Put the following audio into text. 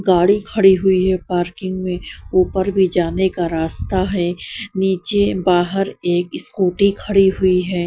गाड़ी खड़ी हुई है पार्किंग में ऊपर भी जाने का रास्ता है नीचे बाहर एक स्कूटी खड़ी हुई है।